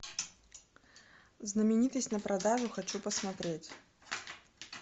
знаменитость на продажу хочу посмотреть